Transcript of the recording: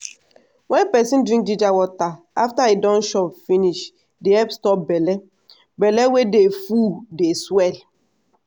wen peson drink ginger water after e don chop finish dey help stop belle belle wey dey full dey swell.